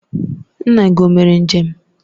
Nna gị o mere njem?